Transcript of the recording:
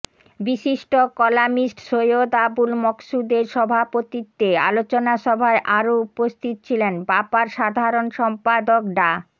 বিশিষ্ট কলামিস্ট সৈয়দ আবুল মকসুদের সভাপতিত্বে আলোচনা সভায় আরও উপস্থিত ছিলেন বাপার সাধারণ সম্পাদক ডা